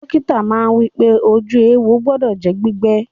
Dọ́kítà náà wípé, ojú éwo gbọdọ̀ jẹ́ gbígbẹ